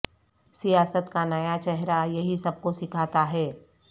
سیاست کا نیا چہرہ یہی سب کو سکھاتا ہے